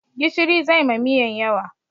Gishiri zai ma miyan yawa